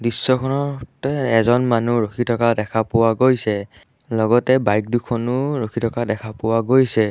দৃশ্যখনতে এজন মানুহ ৰখি থকা দেখা পোৱা গৈছে লগতে বাইক দুখনো ৰখি থকা দেখা পোৱা গৈছে।